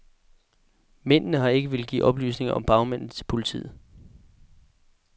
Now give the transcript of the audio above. Mændene har ikke villet give oplysninger om bagmændene til politiet.